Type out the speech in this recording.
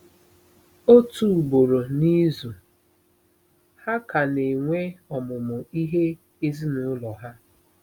Otu ugboro n'izu, ha ka na-enwe ọmụmụ ihe ezinụlọ ha.